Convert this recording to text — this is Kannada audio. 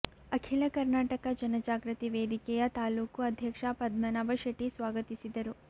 ಅಖಿಲ ಕರ್ನಾಟಕ ಜನಜಾಗೃತಿ ವೇದಿಕೆಯ ತಾಲೂಕು ಅಧ್ಯಕ್ಷ ಪದ್ಮನಾಭ ಶೆಟ್ಟಿ ಸ್ವಾಗತಿಸಿದರು